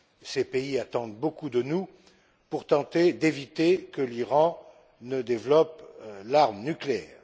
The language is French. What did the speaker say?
Ces pays attendent beaucoup de nous pour tenter d'éviter que l'Iran ne développe l'arme nucléaire.